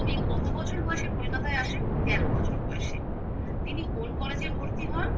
উনি কত বছর বয়সে কলকাতায় আসেন তেরো বছর বয়সে তিনি কোন college এ ভর্তি হন